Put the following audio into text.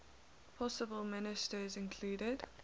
possible ministers included